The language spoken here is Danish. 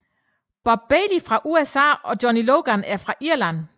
Bob Bailey fra USA og Johnny Logan fra Irland